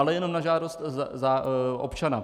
Ale jenom na žádost občana.